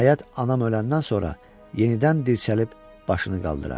Nəhayət, anam öləndən sonra yenidən dirsəlib başını qaldırar.